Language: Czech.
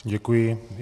Děkuji.